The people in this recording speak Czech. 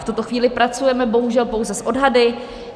V tuto chvíli pracujeme bohužel pouze s odhady.